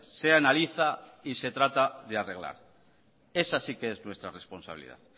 se analiza y se trata de arreglar esa sí que es nuestra responsabilidad